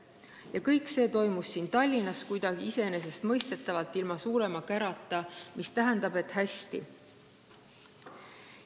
Ja kõik see toimus siin Tallinnas kuidagi iseenesestmõistetavalt, ilma suurema kärata, mis tähendab, et läks hästi.